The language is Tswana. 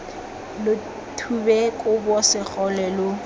lo thube kobo segole lo